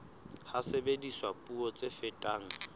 ha sebediswa puo tse fetang